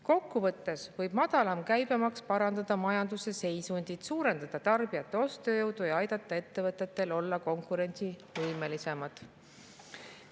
Kokkuvõttes võib madalam käibemaks parandada majanduse seisundit, suurendada tarbijate ostujõudu ja aidata ettevõtetel olla konkurentsivõimelisemad.